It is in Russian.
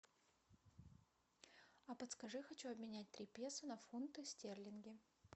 а подскажи хочу обменять три песо на фунты стерлинги